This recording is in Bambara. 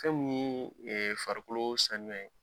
Fɛn min ye farikolo sanuya ye.